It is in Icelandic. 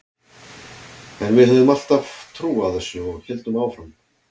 En við höfðum alltaf trú á þessu og héldum áfram.